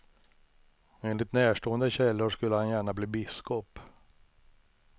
Enligt närstående källor skulle han gärna bli biskop.